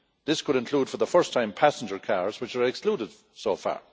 This could include, for the first time, passenger cars, which are excluded so far.